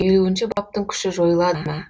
елуінші баптың күші жойылады ма